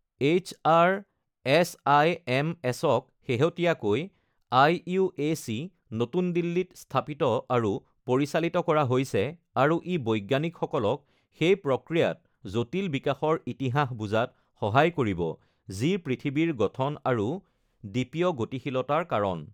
HR এছআইএমএছক শেহতীয়াকৈ IUAC, নতুন দিল্লীত স্থাপিত আৰু পৰিচালিত কৰা হৈছে আৰু ই বৈজ্ঞানিকসকলক সেই প্ৰক্ৰিয়াত জটিল বিকাশৰ ইতিহাস বুজাত সহায় কৰিব যি পৃথিৱীৰ গঠন আৰু দ্বীপীয় গতিশীলতাৰ কাৰণ।